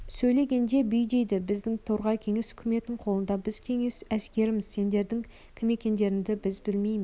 сөйлегенде бүй дейді біздің торғай кеңес үкіметінің қолында біз кеңес әскеріміз сендердің кім екендеріңді біз білмейміз